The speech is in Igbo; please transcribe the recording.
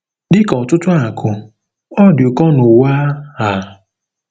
Dị ka ọtụtụ akụ, ọ dị ụkọ n'ụwa a.